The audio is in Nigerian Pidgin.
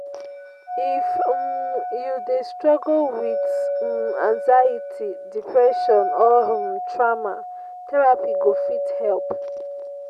If you dey struggle with anxiety, depression or truama, therapy go fit help.